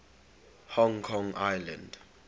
hong kong island